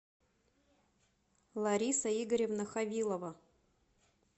лариса игоревна хавилова